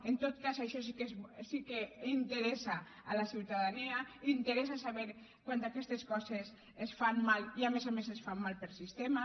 en tot cas això sí que interessa a la ciutadania interessa saber quan aquestes coses es fan mal i a més a més es fan mal per sistema